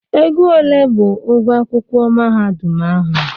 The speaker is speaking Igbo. Ego ole bụ ụgwọ akwụkwọ mahadum ahụ?